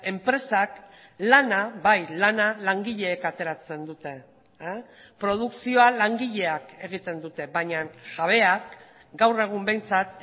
enpresak lana bai lana langileek ateratzen dute produkzioa langileak egiten dute baina jabeak gaur egun behintzat